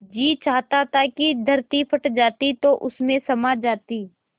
जी चाहता था कि धरती फट जाती तो उसमें समा जाती